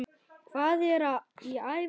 Hvað er í ævi?